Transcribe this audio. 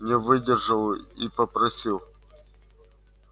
не выдержал и попросил